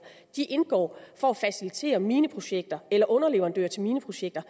indgår for at facilitere mineprojekter eller underleverandører til mineprojekter